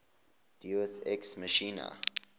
deus ex machina